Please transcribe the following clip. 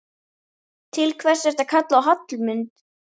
Til hvers ertu að kalla á Hallmund?